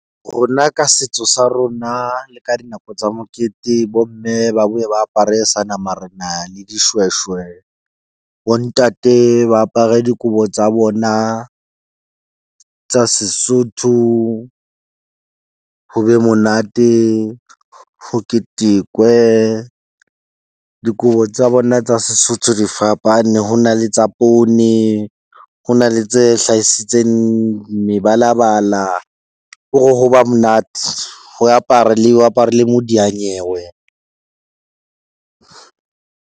Rona ka setso sa rona le ka dinako tsa mokete bo mme ba bo e ba apare seanamarena le dishweshwe, bo ntate ba apare dikobo tsa bona tsa Sesotho. Ho be monate ho ketekwe. Dikobo tsa bona tsa Sesotho di fapane. Ho na le tsa poone. Ho na le tse hlahisitseng mebalabala ke hore ho ba monate, ho apara le eo apare le modiyanyewe.